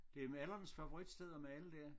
Det er malernes favoritsted at male der